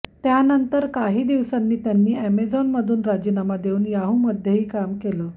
त्यानंतर काही दिवसांनी त्यांनी अॅमेझॉनमधून राजीनामा देऊन याहूमध्येही काम केले